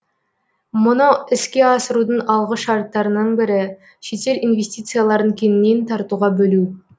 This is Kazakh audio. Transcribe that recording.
мұны іске асырудың алғы шарттарының бірі шетел инвестицияларын кеңінен тартуға бөлу